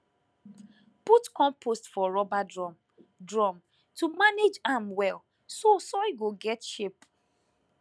put compost for rubber drum drum to manage am well so soil go get shape